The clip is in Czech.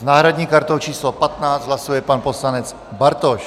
S náhradní kartou číslo 15 hlasuje pan poslanec Bartoš.